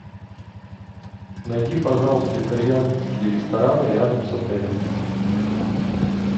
найди пожалуйста итальянские рестораны рядом с отелем